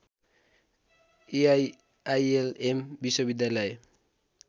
EIILM विश्वविद्यालय